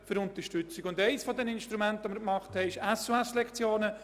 Eines dieser Instrumente sind die SOS-Lektionen.